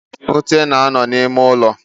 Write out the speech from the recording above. Ute na-ano n'ime ulo.